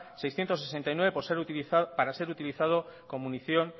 seiscientos sesenta y nueve para ser utilizado con munición